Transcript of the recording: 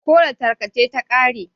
ko datarka ce ta kare?